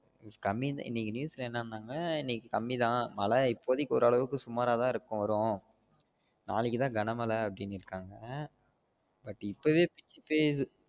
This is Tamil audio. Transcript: கம்மி தான் இணைக்கு news ல என்னனாங்க இனிக்கு கம்மி தான் மழ இபோதைக்கு ஒரு அளவுக்கு சுமாராதான் இருக்கும் வரும் நாளைக்கு தான் கன மழ அப்டின்னு இருக்காங்க but இப்போவே இப்டி பெய்யுது